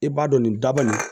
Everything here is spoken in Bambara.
I b'a dɔn nin daba nin